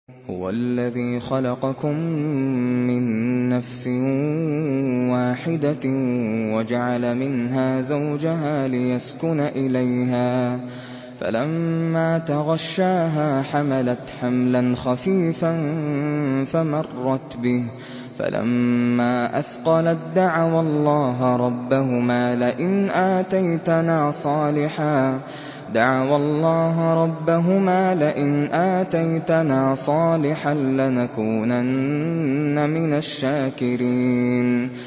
۞ هُوَ الَّذِي خَلَقَكُم مِّن نَّفْسٍ وَاحِدَةٍ وَجَعَلَ مِنْهَا زَوْجَهَا لِيَسْكُنَ إِلَيْهَا ۖ فَلَمَّا تَغَشَّاهَا حَمَلَتْ حَمْلًا خَفِيفًا فَمَرَّتْ بِهِ ۖ فَلَمَّا أَثْقَلَت دَّعَوَا اللَّهَ رَبَّهُمَا لَئِنْ آتَيْتَنَا صَالِحًا لَّنَكُونَنَّ مِنَ الشَّاكِرِينَ